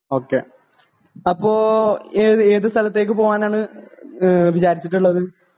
ഓ K അപ്പോ ഏത് സ്ഥലത്തേക്ക് പോകാനാണ് വിചാരിച്ചിട്ടുള്ളത്